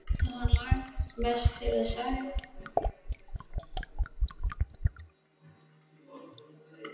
Þó hana langi mest til að taka undir með þeim.